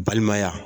Balimaya